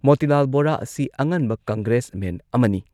ꯃꯣꯇꯤꯂꯥꯜ ꯕꯣꯔꯥ ꯑꯁꯤ ꯑꯉꯟꯕ ꯀꯪꯒ꯭ꯔꯦꯁꯃꯦꯟ ꯑꯃꯅꯤ